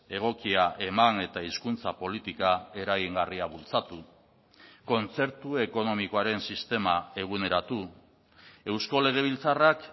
egokia eman eta hizkuntza politika eragingarria bultzatu kontzertu ekonomikoaren sistema eguneratu eusko legebiltzarrak